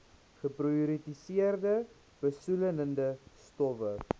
geprioritoriseerde besoedelende stowwe